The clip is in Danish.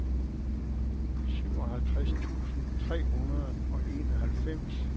syvoghalvtreds tusind tre hundrede og enoghalvfems